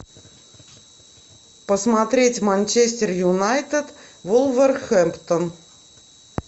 посмотреть манчестер юнайтед вулверхэмптон